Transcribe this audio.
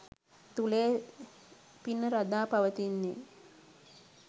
තුළය පින රඳා පවතින්නේ.